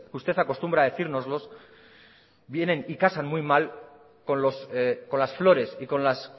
usted acostumbra a decírnoslos vienen y casan muy mal con las flores y con las